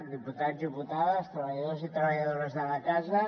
diputats diputades treballadors i treballadores de la casa